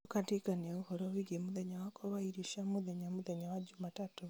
ũkandirikania ũhoro wigiĩ mũthenya wakwa wa irio cia mũthenya mũthenya wa jumatatũ